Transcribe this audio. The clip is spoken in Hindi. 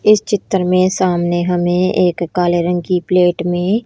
इस चित्र में सामने हमे एक काले रंग की प्लेट में--